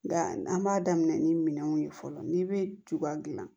Nka an b'a daminɛ ni minɛnw ye fɔlɔ ni be cogoya dilan